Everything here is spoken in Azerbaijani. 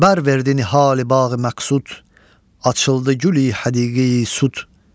Bər verdi nihalibağı məqsud, açıldı güli həqiqi süd.